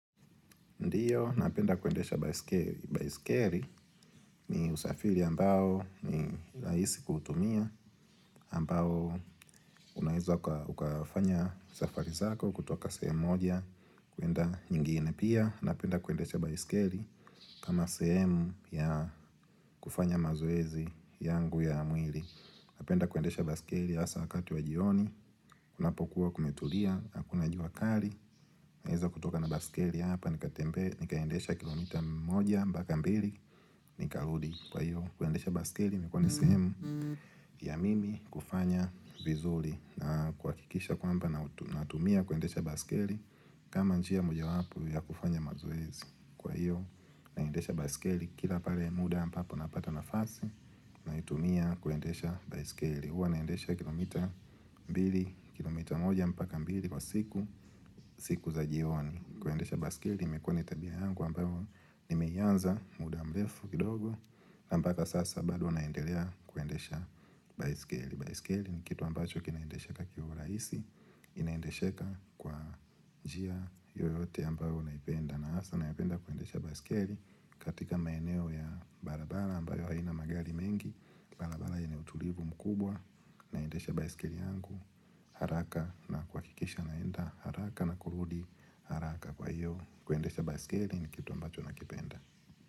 Ndiyo, napenda kuendesha baiskeli ni usafiri ambao ni raisi kuutumia ambao unaweza ukafanya safari zako kutoka sehemu moja kuenda nyingine pia. Napenda kuendesha baiskeli kama sehemu ya kufanya mazoezi yangu ya mwili. Napenda kuendesha baiskeli hasa wakati wa jioni, kunapokuwa kumetulia, hakuna jua kali. Naweza kutoka na baiskeli hapa, nikaendesha kilomita moja mbaka mbili, nikarudi Kwa hivyo kuendesha baiskeli imekuwa ni sehemu ya mimi kufanya vizuri na kuhakikisha kwamba natumia kuendesha baiskeli kama njia mojawapo ya kufanya mazoezi Kwa hiyo naendesha baiskeli kila pale muda ambapo napata nafasi naitumia kuendesha baiskeli huwa naendesha kilomita mbili kilomita moja mpaka mbili kwa siku siku za jioni Kwa hiyo kuendesha baiskeli imekuwa tabia yangu ambayo nimeianza muda mrefu kidogo na mpaka sasa bado naendelea kuendesha baiskeli. Baiskeli ni kitu ambacho kinaendesheka kiurahisi Inaendesheka kwa njia yoyote ambayo unaipenda na hasa napenda kuendesha baiskeli katika maeneo ya barabara ambayo haina magari mengi barabara yenye utulivu mkubwa naendesha baiskeli yangu haraka na kwa kuhakikisha naenda haraka na kurudi haraka Kwa hiyo kuendesha baiskeli ni kitu ambacho nakipenda.